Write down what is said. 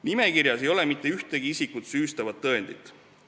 Nimekirjas ei ole mitte ühtegi isikut süüstavat tõendit.